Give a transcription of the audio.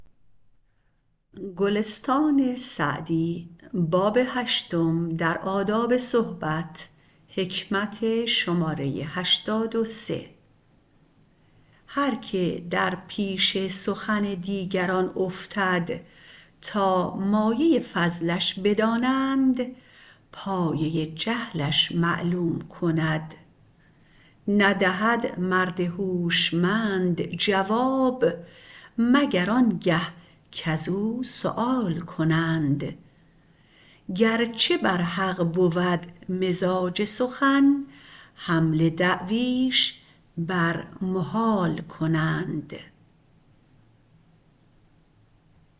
هر که در پیش سخن دیگران افتد تا مایه فضلش بدانند پایه جهلش معلوم کند ندهد مرد هوشمند جواب مگر آن گه کز او سؤال کنند گرچه بر حق بود مزاج سخن حمل دعویش بر محال کنند